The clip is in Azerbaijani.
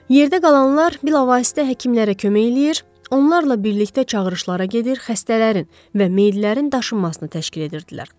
Yerdə qalanlar bilavasitə həkimlərə kömək eləyir, onlarla birlikdə çağırışlara gedir, xəstələrin və meyillərin daşınmasını təşkil edirdilər.